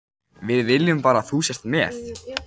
Við viljum bara að þú sért með.